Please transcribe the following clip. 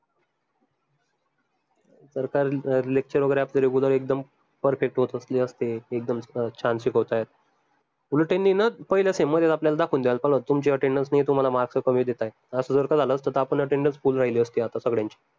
lecture वगैरे आपले regular एकदम perfect होत असले असते एकदम छान शिकवतायत उलट त्यांनी ना पहिल्या sem मध्येच आपल्याला दाखवून द्यायला पाहिजे होत तुमची attendance नाई आहे तुम्हाला mark कमी देत आहे असं जर का झालं असत त आपली attendance full राहिली असती आता सगड्यांची